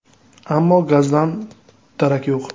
Ammo gazdan darak yo‘q.